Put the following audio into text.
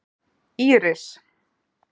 Íris